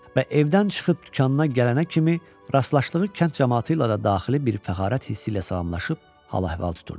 Və evdən çıxıb dükanına gələnə kimi rastlaşdığı kənd camaatı ilə də daxili bir fəxarət hissi ilə salamlaşıb hal-əhval tuturdu.